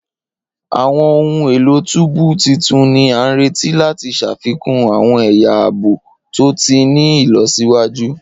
Awọn ohun elo tubu titun ni a nireti lati ṣafikun awọn ẹya aabo to ti ni ilọsiwaju.